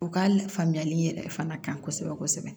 U ka la faamuyali yɛrɛ fana ka kosɛbɛ kosɛbɛ